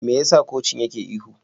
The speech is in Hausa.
Me yasa kocin yake ihu?